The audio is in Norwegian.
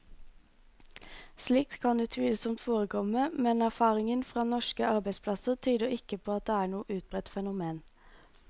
Slikt kan utvilsomt forekomme, men erfaringen fra norske arbeidsplasser tyder ikke på at det er noe utbredt fenomen.